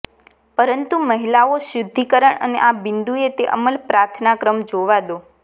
પરંતુ મહિલાઓ શુદ્ધિકરણ અને આ બિંદુએ તે અમલ પ્રાર્થના ક્રમ જોવા દો